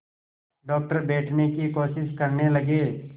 doctor बैठने की कोशिश करने लगे